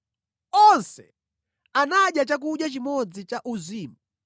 Onse anadya chakudya chimodzi chauzimu